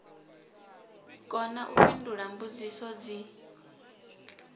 kona u fhindula mbudziso dzi